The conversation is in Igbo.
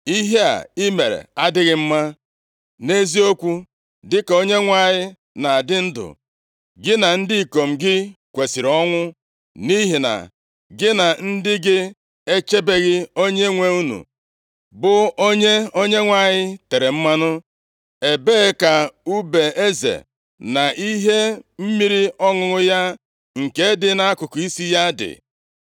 Ihe a i mere adịghị mma. Nʼeziokwu, dịka Onyenwe anyị na-adị ndụ, gị na ndị ikom gị kwesiri ọnwụ, nʼihi na gị na ndị gị echebeghị onyenwe unu, bụ onye Onyenwe anyị tere mmanụ. Ebee ka ùbe eze, na ihe mmiri ọṅụṅụ ya, nke dị nʼakụkụ isi ya dị?”